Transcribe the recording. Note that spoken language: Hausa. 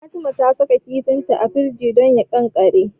Fatima ta saka kifinta a firinji don ya ƙanƙare.